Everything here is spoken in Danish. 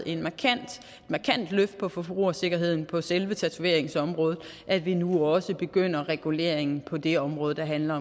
et markant løft på forbrugersikkerheden på selve tatoveringsområdet at vi nu også begynder reguleringen på det område der handler